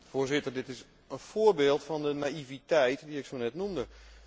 Voorzitter, dit is een voorbeeld van de naïviteit die ik zonet noemde.